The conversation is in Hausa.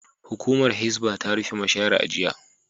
Hukumar Hisbah ta rufe mashayar a jiya